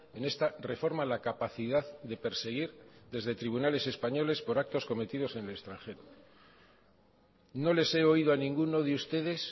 en esta reforma la capacidad de perseguir desde tribunales españoles por actos cometidos en el extranjero no les he oído a ninguno de ustedes